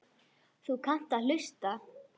Þú kannt að hlusta.